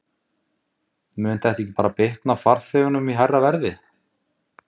Helga Arnardóttir: Mun þetta ekki bara bitna á farþegunum í hærra verði?